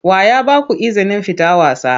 Wa ya ba ku izinin fita wasa?